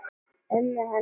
Ömmu hennar?